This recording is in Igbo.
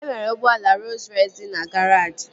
E nwere ụgbọala Rooz Rọys dị na garaajị